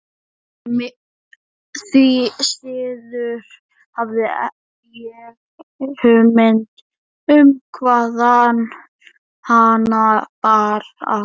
Því síður hafði ég hugmynd um hvaðan hana bar að.